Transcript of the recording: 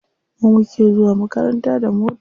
Mu muke zuwa makaranta da mota.